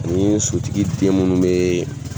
N'i ye sotigi den minnu bɛ